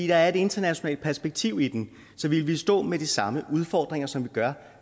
der er et internationalt perspektiv i den så vi ville stå med de samme udfordringer som vi gør